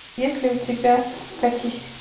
есть ли у тебя катись